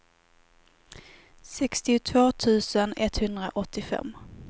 sextiotvå tusen etthundraåttiofem